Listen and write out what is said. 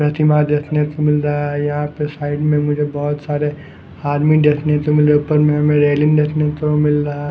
प्रतिमा देखने को मिल रहा है यहा पे साइड में मुझे बोहोत सारे आदमी देखने को मिलरे उपर में मेरे देखने को मिल रहा--